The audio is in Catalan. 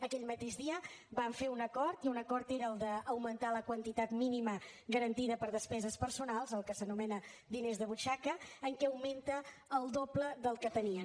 aquell mateix dia vam fer un acord i un acord era el d’augmentar la quantitat mínima garantida per a despeses personals el que s’anomena diners de butxaca que augmenta al doble del que tenien